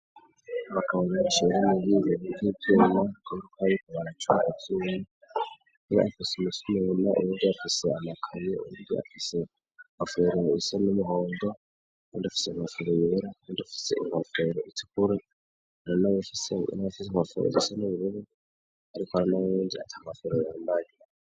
Bakabangangchiwerimubizi vivyanya gotwayikubaracoauvyunu niba efise umusomununa urubwo afiseamakane uruni afise afuagana isa n'umuhondo wandufise amafire yera kandufise ipafero izikuru uana wushise n'abafize kbafahejisa n'ibirero arikoaranawowinja amasoro ya mbagia.